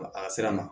A sera ma